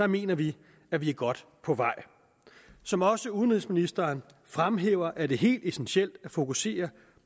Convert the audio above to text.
mener vi at vi er godt på vej som også udenrigsministeren fremhæver er det helt essentielt at fokusere